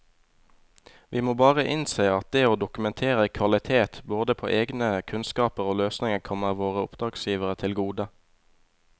Vi må bare innse at det å dokumentere kvalitet både på egne kunnskaper og løsninger kommer våre oppdragsgivere til gode.